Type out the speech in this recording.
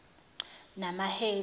namahedi